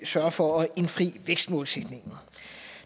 sørge for at indfri vækstmålsætningen